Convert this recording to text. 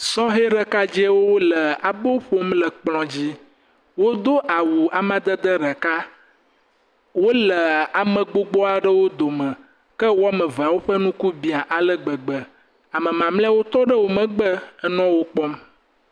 Sɔheɖekadzewo le abo ƒom le kplɔ dzi. Wodo awu amadede ɖeka. Wole ame gbogbo aɖewo gome ke wo ame eveawo ƒe ŋku bia ale gbegbe. Ame mamleawo tɔ ɖe wo megbe enɔ wo kpɔm.